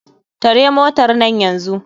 Tare motarnan nan yanzu.